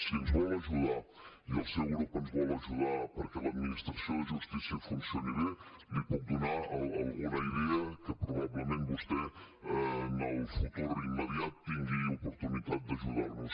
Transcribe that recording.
si ens vol ajudar i el seu grup ens vol ajudar perquè l’administració de justícia funcioni bé li puc donar alguna idea que probablement vostè en el futur immediat tingui oportunitat d’ajudar nos